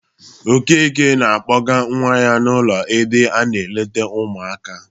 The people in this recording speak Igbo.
Okeke na-akpọga nwa ya n'ụlọ ebe a na-eleta ụmụaka.